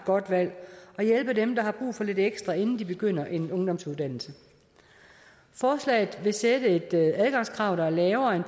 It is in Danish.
godt valg og hjælpe dem der har brug for lidt ekstra inden de begynder en ungdomsuddannelse forslaget fastsætte et adgangskrav der er lavere end